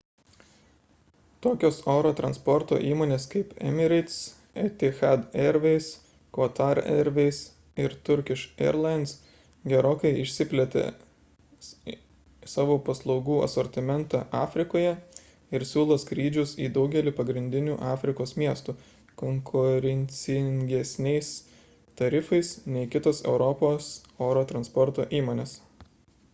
tokios oro transporto įmonės kaip emirates etihad airways qatar airways ir turkish airlines gerokai išplėtė savo paslaugų asortimentą afrikoje ir siūlo skrydžius į daugelį pagrindinių afrikos miestų konkurencingesniais tarifais nei kitos europos oro transporto įmonės